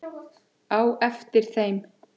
á eftir þeim.